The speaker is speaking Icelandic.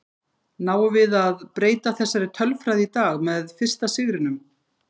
Náum við að breyta þessari tölfræði í dag með fyrsta sigrinum?